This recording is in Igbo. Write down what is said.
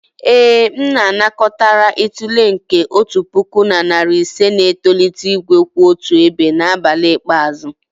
ee, M anakọtara itule nke otu puku na narị ise na-etolite igwe kwụ otu ebe n'abalị ikpeazụ.